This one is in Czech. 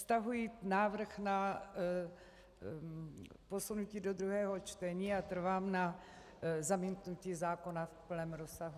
Stahuji návrh na posunutí do druhého čtení a trvám na zamítnutí zákona v celém rozsahu.